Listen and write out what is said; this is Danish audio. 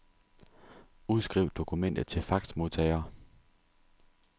Udskriv dokumentet til faxmodtager.